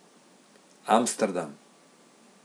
Amsterdam.